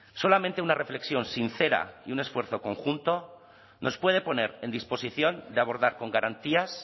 solamente una reflexión sincera y un esfuerzo conjunto nos puede poner en disposición de abordar con garantías